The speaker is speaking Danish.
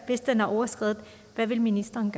den er overskredet hvad vil ministeren